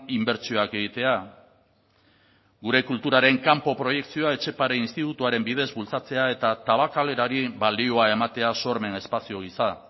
inbertsioak egitea gure kulturaren kanpo proiekzioa etxepare institutuaren bidez bultzatzea eta tabakalerari balioa ematea sormen espazio gisa